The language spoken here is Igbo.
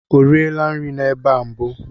O riela nri n'ebe a mbụ?